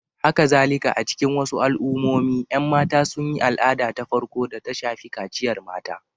Hakazalika, a cikin wasu al'ummomi, ƴan mata sun yi al'ada ta farko da ta shafi kaciyar mata.